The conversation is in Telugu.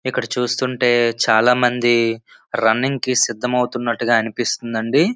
ఇక్కడ చూస్తూ ఉంటే చాలామంది రన్నింగ్ కి సిద్ధమవుతున్నట్టు గా అనిపిస్తూ ఉందండి.